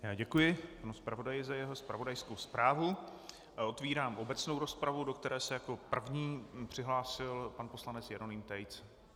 Já děkuji panu zpravodaji za jeho zpravodajskou zprávu a otevírám obecnou rozpravu, do které se jako první přihlásil pan poslanec Jeroným Tejc.